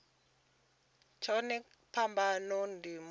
tsheo kha phambano ndi muhatuli